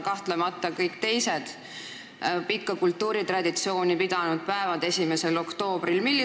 Kahtlemata võib see varjutada teised päevad, mida 1. oktoobril tähistatakse.